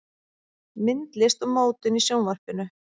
Myndlist og mótun í Sjónvarpinu